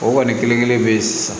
O kɔni kelen kelen bɛ ye sisan